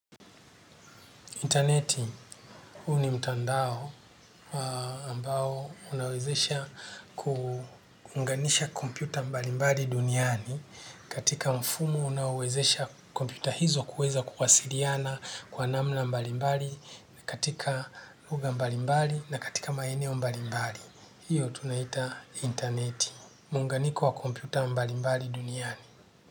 Interneti huu ni mtandao ambao unawezesha kuunganisha kompyuta mbalimbali duniani katika mfumu unaowezesha kompyuta hizo kuweza kuwasiliana kwa namna mbalimbali katika lugha mbalimbali na katika maeneo mbalimbali. Hiyo tunaita interneti. Muunganiko wa kompyuta mbalimbali duniani.